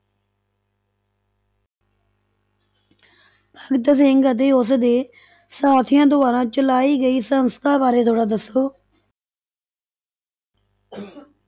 ਭਗਤ ਸਿੰਘ ਅਤੇ ਉਸਦੇ ਸਾਥੀਆਂ ਦੁਆਰਾ ਚਲਾਈ ਗਈ ਸੰਸਥਾ ਬਾਰੇ ਥੋੜ੍ਹਾ ਦੱਸੋ